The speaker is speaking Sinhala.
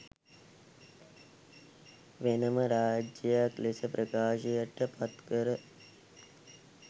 වෙනම රාජ්‍යයක් ලෙස ප්‍රකාශයට පත් කර